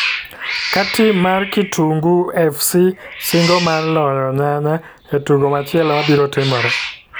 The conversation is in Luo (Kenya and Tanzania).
ka tim mar kitungu fc singo mar loyo nyanya e tugo machielo mabiro timore.